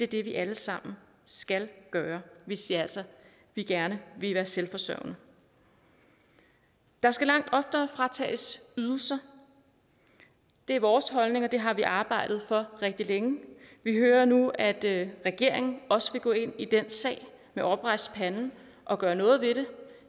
det vi alle sammen skal gøre hvis vi altså gerne vil være selvforsørgende der skal langt oftere fratages ydelser det er vores holdning og det har vi arbejdet for rigtig længe vi hører nu at regeringen også vil gå ind i den sag med oprejst pande og gøre noget ved det